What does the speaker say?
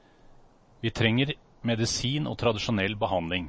Vi trenger medisin og tradisjonell behandling.